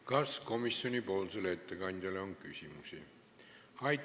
Kas komisjoni ettekandjale on küsimusi?